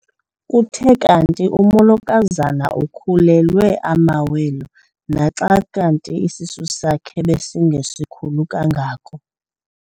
Kuthe kanti umolokazana ukhulelwe amawele naxa isisu sakhe besingesikhulu kangako.